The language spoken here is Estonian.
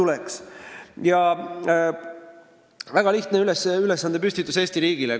See on väga lihtne ülesandepüstitus Eesti riigile.